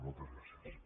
moltes gràcies